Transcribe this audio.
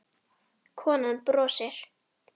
Konan brosir.